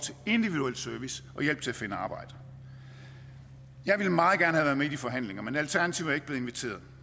individuel service og hjælp til at finde arbejde jeg ville meget gerne i de forhandlinger men alternativet er ikke blevet inviteret